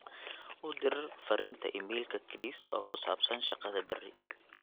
u dir fariinta iimaylka chris oo ku saabsan shaqada bari